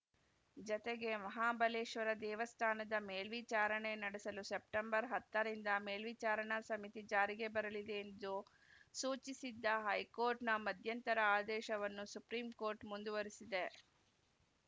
ಜತೆಗೆ ಮಹಾಬಲೇಶ್ವರ ದೇವಸ್ಥಾನದ ಮೇಲ್ವಿಚಾರಣೆ ನಡೆಸಲು ಸೆಪ್ಟೆಂಬರ್ ಹತ್ತರಿಂದ ಮೇಲ್ವಿಚಾರಣ ಸಮಿತಿ ಜಾರಿಗೆ ಬರಲಿದೆ ಎಂದು ಸೂಚಿಸಿದ್ದ ಹೈಕೋರ್ಟ್‌ನ ಮಧ್ಯಂತರ ಆದೇಶವನ್ನು ಸುಪ್ರೀಂ ಕೋರ್ಟ್‌ ಮುಂದುವರಿಸಿದೆ